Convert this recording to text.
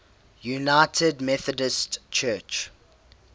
united methodist church